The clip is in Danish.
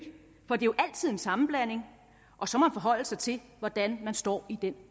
for det er jo altid en sammenblanding og så må forholde sig til hvordan man står i den